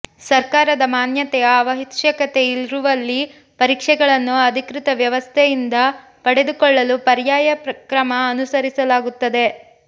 ಸರ್ಕಾರದ ಮಾನ್ಯತೆಯ ಅವಶ್ಯಕತೆ ಇರುವಲ್ಲಿ ಪರೀಕ್ಷೆಗಳನ್ನು ಅಧಿಕೃತ ವ್ಯವಸ್ಥೆಯಿಂದ ಪಡೆದುಕೊಳ್ಳಲು ಪರ್ಯಾಯ ಕ್ರಮ ಅನುಸರಿಸಲಾಗುತ್ತದೆ